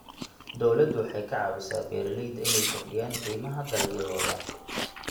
Dawladdu waxay ka caawisaa beeralayda inay kordhiyaan qiimaha dalagyadooda.